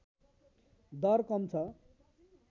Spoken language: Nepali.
दर कम छ